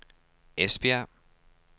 Esbjerg